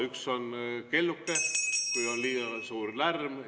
Üks on kelluke , kui on liiga suur lärm.